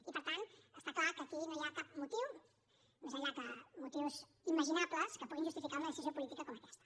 i per tant està clar que aquí no hi ha cap motiu més enllà que motius imaginables que puguin justificar una decisió política com aquesta